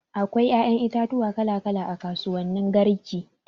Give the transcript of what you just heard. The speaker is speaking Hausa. Akwai ƴaƴan itatuwa kala kala a kasuwan garki.